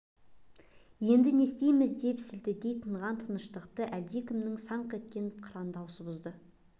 енді не істейміз деп сілтідей тынған тыныштықты әлдекімнің саңқ еткен қыран дауысы бұзды